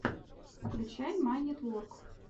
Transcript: включай майнитворк